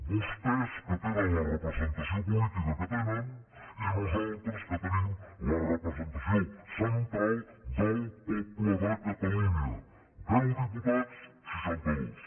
vostès que tenen la representació política que tenen i nosaltres que tenim la representació central del poble de catalunya deu diputats seixanta dos